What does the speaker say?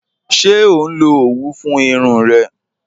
Ṣẹ o nlọ owú fún irùn rẹ?